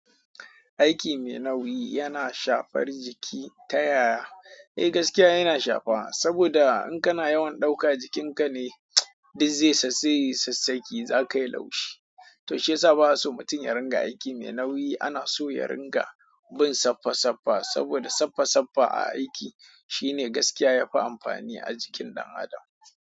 Aiki mai nauyi yana shafar jiki ta yaya? Eh gaskiya yana shafa saboda in kana yawan ɗauka jikinka ne duk zai sassayi sassake zaka yi laushi. To shiyasa baba so mutum ya ringa aiki mai nauyi ana so ya ringa bin saffa saffa saboda saffa saffa a aiki shine gaskiya yafi amfani a jikin ɗan adam.